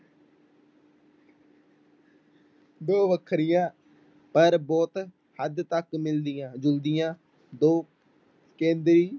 ਦੋ ਵੱਖਰੀਆਂ ਪਰ ਬਹੁਤ ਹੱਦ ਤੱਕ ਮਿਲਦੀਆਂ ਜੁਲਦੀਆਂ ਦੋ ਕੇਂਦਰੀ